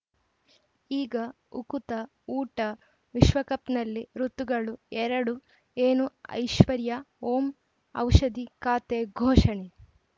ಈಗ ಉಕುತ ಊಟ ವಿಶ್ವಕಪ್‌ನಲ್ಲಿ ಋತುಗಳು ಎರಡು ಏನು ಐಶ್ವರ್ಯಾ ಓಂ ಔಷಧಿ ಖಾತೆ ಘೋಷಣೆ